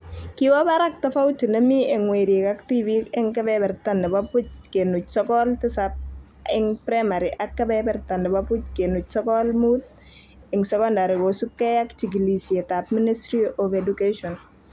Kiwo barak tofauti nemii eng werik ak tibiik eng kebeberta nebo buch kenuch sokol tisab eng primary ak kebeberta nebo buch kenuch sokol muut eng secondary kosubkei ak jikilisietab Ministry of Education